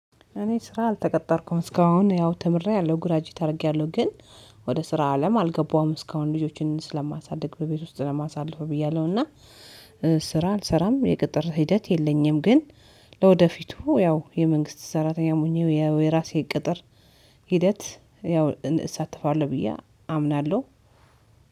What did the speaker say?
እኔ ስራ አልተቀጠርኩም እስካሁን ያው ተምሬያለሁ ግራጂዌት አድርጊያለሁ ግን ወደ ስራ አለም አልገባሁም እስካሁን ልጆችን ስለማሳደግ በቤት ውስጥ ማሳለፈው ብያለሁና። ስራ አልሰራም የቅጥር ሂደት የለኝም። ግን ለወደፊቱ ያው የመንግስት ሰራተኛም ሆኜ የራሴ ቅጥር ሂደት ያው እሳተፋለሁ ብዬ አምናለሁ።